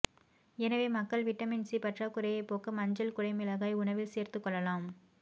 எனவே மக்கள் vitamin C பற்றாக்குறையை போக்க மஞ்சள் குடைமிளகாயை உணவில் சேர்த்துக் கொள்ளலாம்